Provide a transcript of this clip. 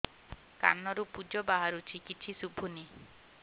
କାନରୁ ପୂଜ ବାହାରୁଛି କିଛି ଶୁଭୁନି